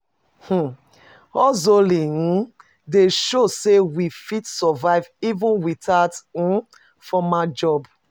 um Hustling um dey show sey we fit survive even without um formal job.